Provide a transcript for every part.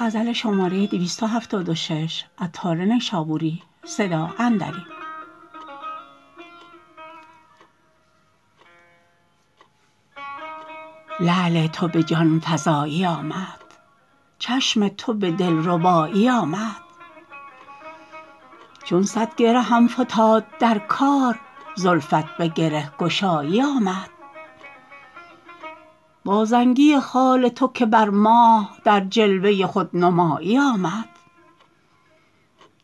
لعل تو به جان فزایی آمد چشم تو به دلربایی آمد چون صد گرهم فتاد در کار زلفت به گره گشایی آمد با زنگی خال تو که بر ماه در جلوه خودنمایی آمد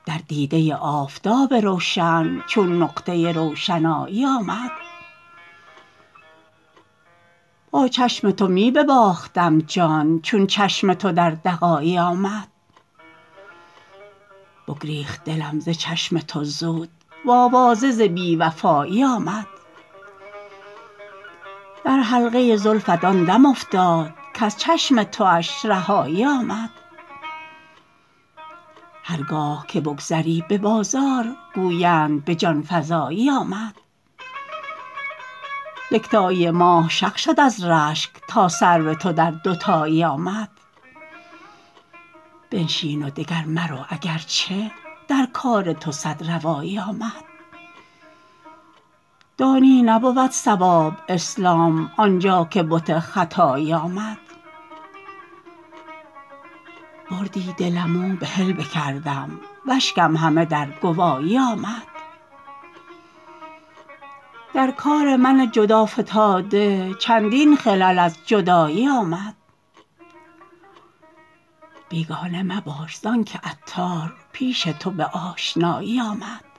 در دیده آفتاب روشن چون نقطه روشنایی آمد با چشم تو می بباختم جان چون چشم تو دردغایی آمد بگریخت دلم ز چشم تو زود وآواره ز بی وفایی آمد در حلقه زلفت آن دم افتاد کز چشم تواش رهایی آمد هرگاه که بگذری به بازار گویند به جان فزایی آمد یکتایی ماه شق شد از رشک تا سرو تو در دوتایی آمد بنشین و دگر مرو اگرچه در کار تو صد روایی آمد دانی نبود صواب اسلام آنجا که بت ختایی آمد بردی دلم و بحل بکردم واشکم همه در گوایی آمد در کار من جدا فتاده چندین خلل از جدایی آمد بیگانه مباش زانکه عطار پیش تو به آشنایی آمد